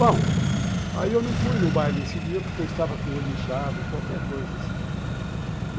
Bom, aí eu não fui no baile esse dia porque eu estava com o olho inchado, qualquer coisa assim.